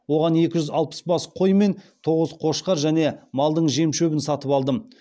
оған екі жүз алпыс бас қой мен тоғыз қошқар және малдың жем шөбін сатып алдым